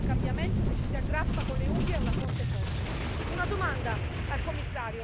Come si può pensare di realizzare il cambiamento se ci si aggrappa con le unghie a una fonte fossile?